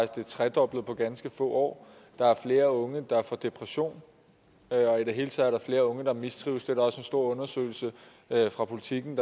det er tredoblet på ganske få år der er flere unge der får depression og i det hele taget er der flere unge der mistrives det er der også en stor undersøgelse fra politiken